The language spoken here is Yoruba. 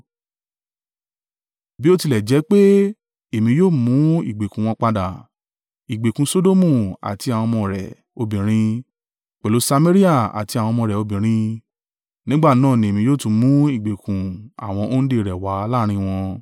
“ ‘Bi o tilẹ̀ jẹ pe èmi yóò mú ìgbèkùn wọn padà, ìgbèkùn Sodomu àti àwọn ọmọ rẹ̀ obìnrin, pẹ̀lú Samaria àti àwọn ọmọ rẹ̀ obìnrin, nígbà náà ni èmi yóò tún mú ìgbèkùn àwọn òǹdè rẹ wá láàrín wọn,